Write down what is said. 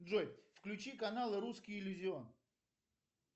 джой включи канал русский иллюзион